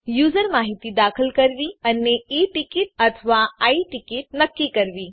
user માહિતી દાખલ કરવી અને ઈ ટીકીટ અથવા આઈ ટીકીટ નક્કી કરવી